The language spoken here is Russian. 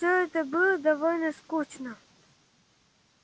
все это было довольно скучно